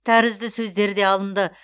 тәрізді сөздер де алынды